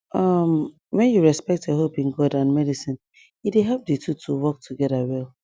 um when you respect your hope in god and medicine e dey help di two to work together well